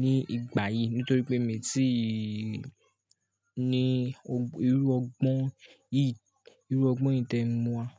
ní ìgbà yìí nítorí pé mi tíì ní irú ọgbọ́n yìí, irú ọgbọ́n yìí tí ń mú wa.